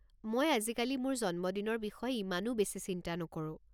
মই আজিকালি মোৰ জন্মদিনৰ বিষয়ে ইমানো বেছি চিন্তা নকৰোঁ।